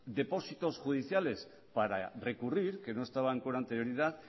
depósitos judiciales para recurrir que no estaban con anterioridad